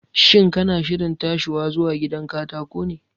Shin kana shirin tashiwa zuwa gidan katako ne?